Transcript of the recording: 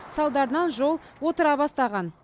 салдарынан жол отыра бастаған